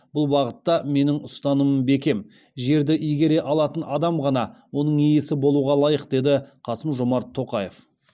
бұл бағытта менің ұстанымым бекем жерді игере алатын адам ғана оның иесі болуға лайық деді қасым жомарт тоқаев